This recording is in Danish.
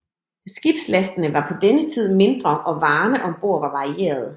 Skibslastene var på denne tid mindre og varerne ombord var varierede